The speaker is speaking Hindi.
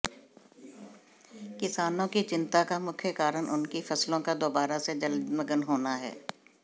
किसानों की चिंता का मुख्य कारण उनकी फसलों का दौबारा से जलमग्न होना है